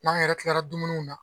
N'an yɛrɛ kiilara dumuniw na.